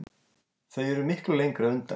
Þau eru miklu lengra undan